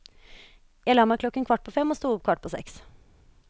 Jeg la meg klokken kvart på fem og sto opp kvart på seks.